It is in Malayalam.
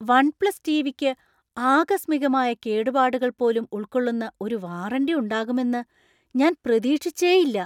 വൺ പ്ലസ് ടിവിക്ക് ആകസ്മികമായ കേടുപാടുകൾ പോലും ഉൾക്കൊള്ളുന്ന ഒരു വാറന്റി ഉണ്ടാകുമെന്ന് ഞാൻ പ്രതീക്ഷിച്ചേയില്ല.